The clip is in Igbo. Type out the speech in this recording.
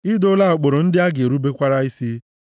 I doola ụkpụrụ ndị a ga-erubekwara isi.